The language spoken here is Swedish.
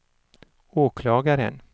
åklagaren